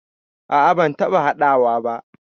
A'a ban taɓa haɗawa ba.